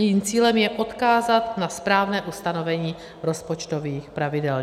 Jejím cílem je odkázat na správné ustanovení rozpočtových pravidel.